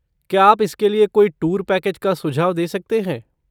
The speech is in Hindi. क्या आप इसके लिए कोई टूर पैकेज का सुझाव दे सकते हैं?